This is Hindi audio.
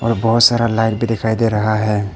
बहोत सारा लाइट भी दिखाई दे रहा है।